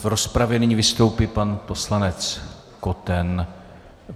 V rozpravě nyní vystoupí pan poslanec Koten.